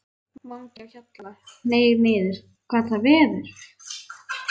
MANGI Á HJALLA, hneig niður. gat það verið?